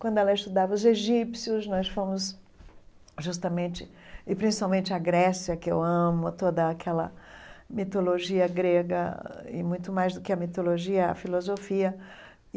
Quando ela estudava os egípcios, nós fomos justamente... E principalmente à Grécia, que eu amo toda aquela mitologia grega, e muito mais do que a mitologia, a filosofia.